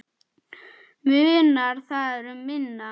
Munar þar um minna.